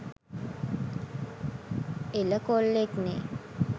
එල කොල්ලෙක්නෙ